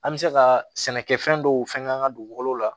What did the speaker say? An bɛ se ka sɛnɛ kɛ fɛn dɔw fɛn k'an ka dugukolo la